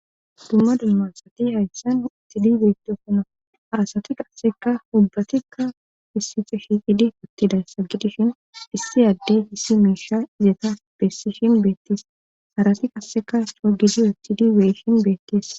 Dumma dummasati hayssan ixidi beetosona arasati qasseka ubbatikka issife shiqidi pottidayssa gidishin issi addey hisi miisha izeeta bessishin beettis harati qasseka soa gidi wethidi weyshin beetteessa.